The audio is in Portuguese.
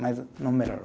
Mas não melhorou.